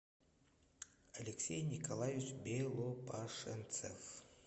алексей николаевич белопашенцев